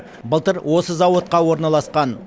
былтыр осы зауытқа орналасқан